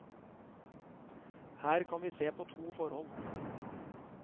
Her kan vi se på to forhold.